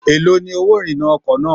Èló ni owó ìrìnnà ọkọ̀ náà?